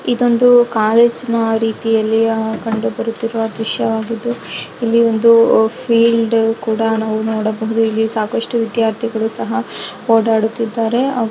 ಇದೊಂದು ಕಾಲೇಜ ಇನ ರೀತಿಯಲ್ಲಿ ಕಂಡು ಬರುತ್ತಿರುವ ದೃಶ್ಯವಾಗಿದೆ. ಇಲ್ಲಿ ಒಂದು ಫೀಲ್ಡ್ ಕೂಡ ನೋಡಬಹುದು. ಇಲ್ಲಿ ಸಾಕಷ್ಟು ವಿದ್ಯಾರ್ಥಿಗಳು ಸಹಾ ಓಡಾಡುತ್ತಿದ್ದಾರೆ.